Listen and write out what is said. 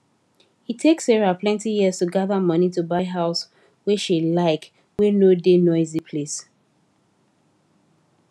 e take sarah plenty years to gather money to buy house wey she like wey no da noisy place